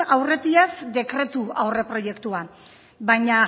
aurretiaz dekretu aurreproiektua baina